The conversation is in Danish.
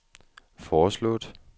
foreslået